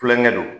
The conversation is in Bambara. Kulonkɛ don